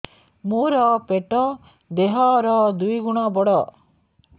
ମୋର ପେଟ ଦେହ ର ଦୁଇ ଗୁଣ ବଡ